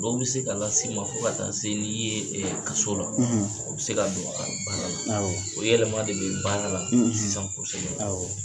Dɔw ne se k'a la s'i ma fo ka taa n'i yee kaso la. o be se ka don a baara. Awɔ. O yɛlɛma de be baara la, sisan kosɛbɛ. Awɔ.